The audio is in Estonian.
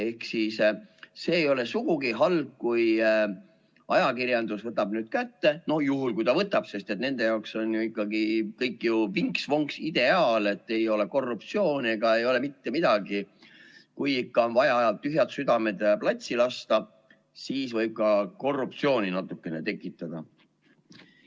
Ehk siis see ei ole sugugi halb, kui ajakirjandus võtab nüüd kätte – no juhul kui ta võtab, sest nende jaoks on ju ikkagi kõik vinks-vonks-ideaal, ei ole korruptsiooni ega ei ole mitte midagi – kui ikka on vaja tühjad südamed platsi lasta, siis võib ka korruptsiooni natukene tekitada.